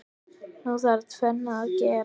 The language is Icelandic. Nú þarf tvennt að gerast.